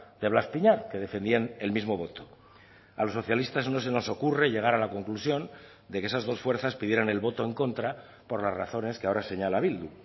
de blas piñar que defendían el mismo voto a los socialistas no se nos ocurre llegar a la conclusión de que esas dos fuerzas pidieran el voto en contra por las razones que ahora señala bildu